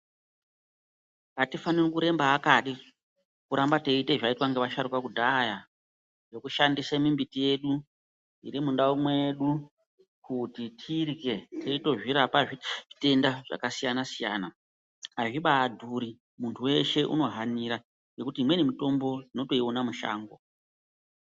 Atifani kuremba akadi, kuramba teiite zvaiitwa ngevasharuka kudhaya, kushandise mimbiti yedu ,iri mundau mwedu kuti tirye, teitozvirapa zvitenda zvakasiyana-siyana. Azvibaadhuri ,muntu weshe unohanira ,ngekuti imweni mitombo unotoiona mushango.